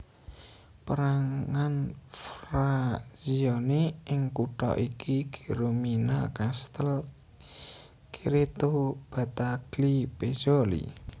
Pérangan frazioni ing kutha iki Geromina Castel Cerreto Battaglie Pezzoli